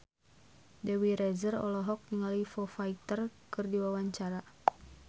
Dewi Rezer olohok ningali Foo Fighter keur diwawancara